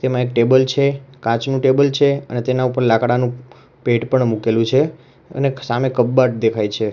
તેમાં એક ટેબલ છે કાચનું ટેબલ છે અને તેના ઉપર લાકડાનું પેટ પણ મૂકેલું છે અને સામે કબાટ દેખાય છે.